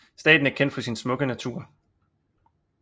Staten er kendt for sin smukke natur